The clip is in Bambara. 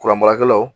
Kuran baarakɛlaw